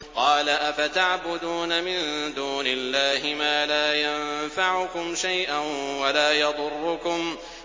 قَالَ أَفَتَعْبُدُونَ مِن دُونِ اللَّهِ مَا لَا يَنفَعُكُمْ شَيْئًا وَلَا يَضُرُّكُمْ